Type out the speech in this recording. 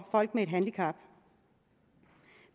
folk med et handicap